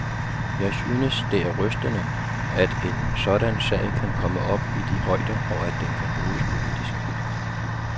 Jeg synes, det er rystende, at en sådan sag kan komme op i de højder, og at den kan bruges politisk.